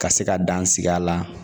Ka se ka dan sigi a la